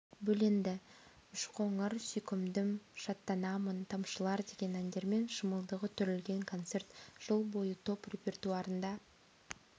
бөленді үш қоңыр сүйкімдім шаттанамын тамшылар деген әндермен шымылдығы түрілген концерт жыл бойы топ репертуарында